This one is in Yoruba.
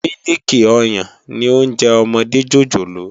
Mílìkí òyán ni óònjè òmòdé jójólóò